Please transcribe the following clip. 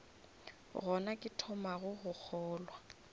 gona ke thomago go kgolwa